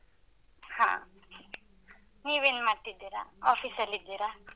ಹ. ನೀವೇನ್ ಮಾಡ್ತಿದ್ದೀರ? office ಲ್ಲಿದ್ದೀರ?